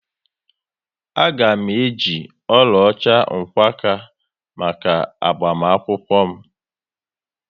Aga m eji oluocha mgkwaka maka agbamakwukwo m